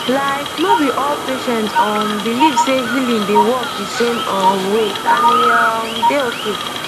like no be all patient um believe sey healing dey work the same um way and e um dey okay